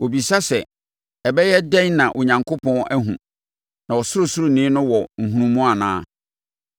Wɔbisa sɛ, “Ɛbɛyɛ dɛn na Onyankopɔn ahunu? Na Ɔsorosoroni no wɔ nhunumu anaa?”